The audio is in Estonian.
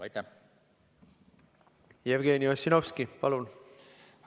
Jevgeni Ossinovski, palun!